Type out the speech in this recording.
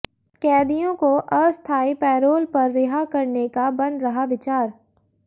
कैदियों को अस्थायी पैरोल पर रिहा करने का बन रहा विचार